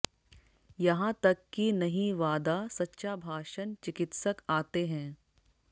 यहां तक कि नहीं वादा सच्चा भाषण चिकित्सक आते हैं